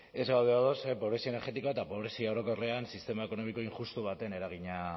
ez gaude ados ze pobrezia energetikoa eta pobrezia orokorrean sistema ekonomiko injustu baten eragina